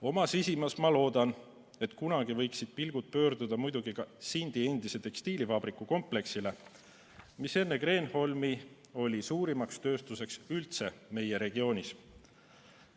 Oma sisimas ma loodan, et kunagi võiksid pilgud pöörduda muidugi ka Sindi endise tekstiilivabriku kompleksile, mis enne Kreenholmi oli suurim tööstuskompleks meie regioonis.